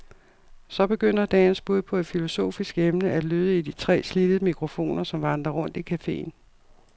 Så begynder dagens bud på et filosofisk emne at lyde i de tre slidte mikrofoner, som vandrer rundt i cafeen.